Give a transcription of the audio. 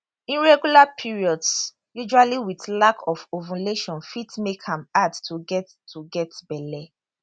irregular periods usually with lack of ovulation fit make am hard to get to get belle